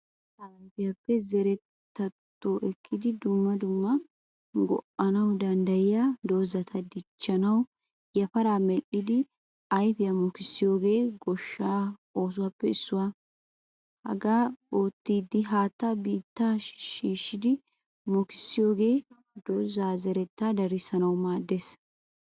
Miitta ayfiyaa zeretatto ekkidi dumma dumma go'anawu danddayiyaa dozaata dichchanawu yafaara medhdhidi ayfiyaa mokisiyoge gooshshaa oosuwaappe issuwaa. Hagaadan oottidi haattaa biittaa shiishidi mokkissiyogee dooza zeretta darisanawu maaddees.